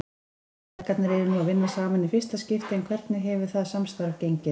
Feðgarnir eru nú að vinna saman í fyrsta skipti en hvernig hefur það samstarf gengið?